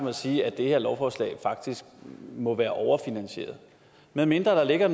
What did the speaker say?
at sige at det her lovforslag faktisk må være overfinansieret medmindre der ligger